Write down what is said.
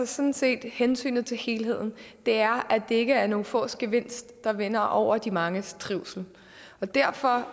sådan set hensynet til helheden det er at det ikke er nogle fås gevinst der vinder over de manges trivsel derfor